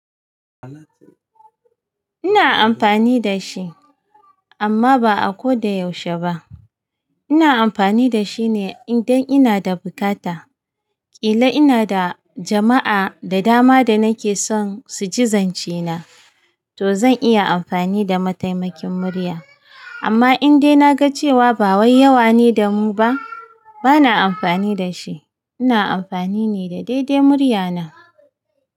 Ina amfani da shi amma ba a ko da yaushe ba. Ina amfani da shine idan ina da bukata. Kila ina da jama'a da dama da nake son su ji zance na, to zan iya amfani da mataimakin murya. Amma indai na ga cewa ba wai yawa ne da mu ba, ba na amfani da shi. Ina amfani ne da daidai murya na.